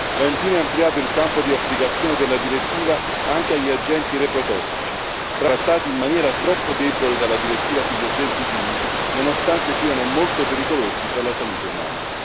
Va infine ampliato il campo di applicazione della direttiva anche agli agenti reprotossici, trattati in maniera troppo debole dalla direttiva sugli agenti chimici nonostante siano molto pericolosi per la salute umana.